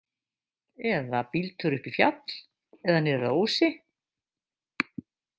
Eða bíltúr upp í fjall eða niður að Ósi?